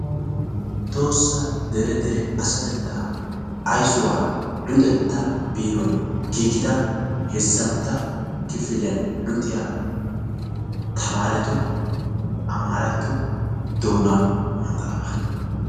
Tohossa deere deere asaateta ayssuwa luxetta beeruwan giggida heezzantta kifiliya luxiya taamarettu amarratto doonaa maxaafa.